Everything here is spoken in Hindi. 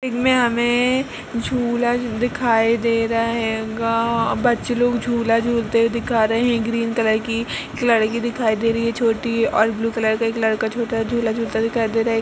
इनमे हमें झूला दिखाई दे रहा है | गांव बच्चे लोग झूला झूलते हुए दिखा रहे हैं ग्रीन कलर की एक लड़की दिखाई दे रही है छोटी और ब्लू कलर का एक लड़का छोटा झूला झूलता दिखाई दे रहा है ।